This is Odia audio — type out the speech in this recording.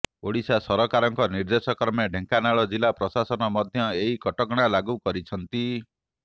ଓଡିଶା ସରକାରଙ୍କ ନିର୍ଦ୍ଦେଶ କ୍ରମେ ଢେଙ୍କାନାଳ ଜିଲ୍ଲା ପ୍ରଶାସନ ମଧ୍ୟ ଏହି କଟକଣା ଲାଗୁ କରିଛନ୍ତି